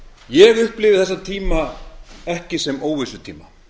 ég upplifi þessa tíma ekki sem óvissutíma